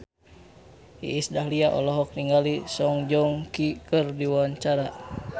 Iis Dahlia olohok ningali Song Joong Ki keur diwawancara